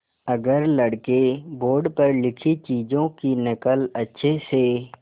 अगर लड़के बोर्ड पर लिखी चीज़ों की नकल अच्छे से